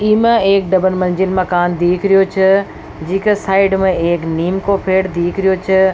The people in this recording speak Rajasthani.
ई में एक डबल मंजिल मकान दीख रिहो छ जी के साइड में एक नीम को पेड़ दीख रिहो छ।